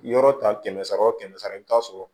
Yɔrɔ ta kɛmɛ sara o kɛmɛ sara i bi taa sɔrɔ